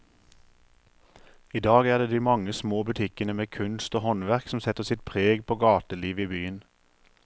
I dag er det de mange små butikkene med kunst og håndverk som setter sitt preg på gatelivet i byen.